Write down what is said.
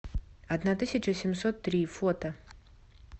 одна тысяча семьсот три фото